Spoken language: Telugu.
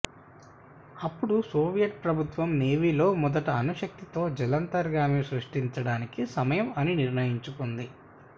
అప్పుడు సోవియట్ ప్రభుత్వం నేవీ లో మొదటి అణు శక్తితో జలాంతర్గామి సృష్టించడానికి సమయం అని నిర్ణయించుకుంది